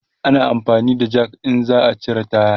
ana amfani da Jak in za'a cire taya